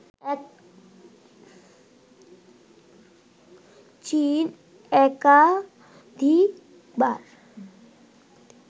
চীন একাধিকবার